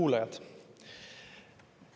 Kuulajad!